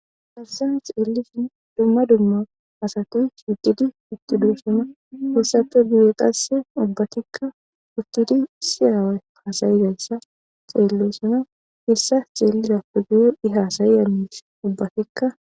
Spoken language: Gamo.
Dabsan xeellisun dumma dumma asati shiqidi utti duu suna hessappe biyeqasse ubbatikka uttidi siyaawe hasayidassa xeello suna hessa xeellida puguyo i haasayi amiis ubbatikka